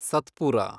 Satpura